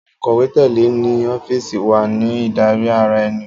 Akọ̀wé tẹ́lẹ̀ ní ọ́fíìsì wa ní ìdarí ara ẹni.